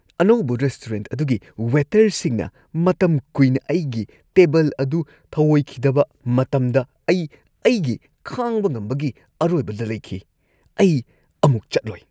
ꯑꯅꯧꯕ ꯔꯦꯁꯇꯨꯔꯦꯟꯠ ꯑꯗꯨꯒꯤ ꯋꯦꯇꯔꯁꯤꯡꯅ ꯃꯇꯝ ꯀꯨꯏꯅ ꯑꯩꯒꯤ ꯇꯦꯕꯜ ꯑꯗꯨ ꯊꯧꯑꯣꯏꯈꯤꯗꯕ ꯃꯇꯝꯗ ꯑꯩ ꯑꯩꯒꯤ ꯈꯥꯡꯕ ꯉꯝꯕꯒꯤ ꯑꯔꯣꯏꯕꯗ ꯂꯩꯈꯤ꯫ ꯑꯩ ꯑꯃꯨꯛ ꯆꯠꯂꯣꯏ꯫